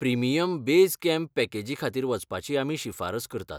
Premium base camp पॅकेजी खातीर वचपाची आमी शिफारस करतात.